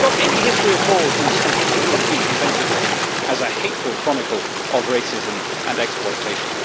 If he was taught any history at all in school, it will have been presented to him as a hateful chronicle of racism and exploitation.